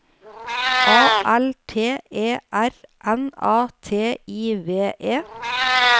A L T E R N A T I V E